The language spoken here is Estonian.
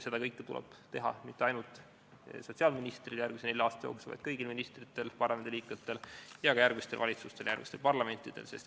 Seda kõike tuleb teha mitte ainult sotsiaalministril järgmisel nelja aasta jooksul, vaid kõigil ministritel ja parlamendiliikmetel ning ka järgmistel valitsustel ja järgmistel parlamentidel.